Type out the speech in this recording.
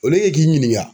Olu ye k'i ɲininka